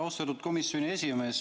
Austatud komisjoni esimees!